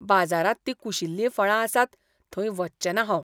बाजारांत तीं कुशिल्लीं फळां आसात थंय वचचें ना हांव.